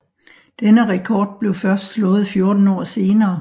Denne rekord blev først slået 14 år senere